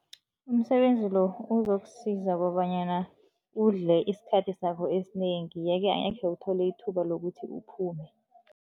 Umsebenzi lo, uzokusiza kobanyana udle isikhathi sakho esinengi, yeke angakhe uthole ithuba lokuthi uphume.